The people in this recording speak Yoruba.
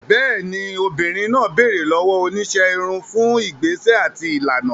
Bẹ́ẹ̀ni, obìnrin náà béèrè lọ́wọ́ oníṣẹ́ irun fún ìgbésẹ̀ àti ìlànà.